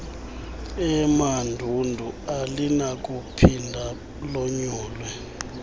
emandundu alinakuphinda lonyulwe